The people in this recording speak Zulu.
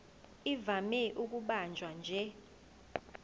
ivame ukubanjwa nje